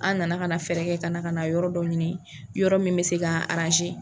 An nana ka na fɛɛrɛ kɛ ka na ka na yɔrɔ dɔ ɲini yɔrɔ min bɛ se ka